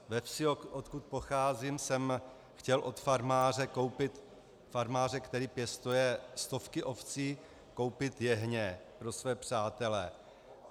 Ve vsi, odkud pocházím, jsem chtěl od farmáře, který pěstuje stovky ovcí, koupit jehně pro své přátele.